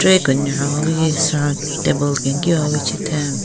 wi sen table kenkiwa wi chitheng.